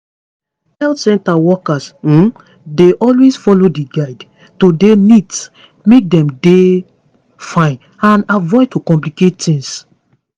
health center workers um dey always follow di guides to dey neat make dem dey fine and avoid to complicate tings